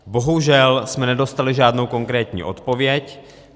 Bohužel jsme nedostali žádnou konkrétní odpověď.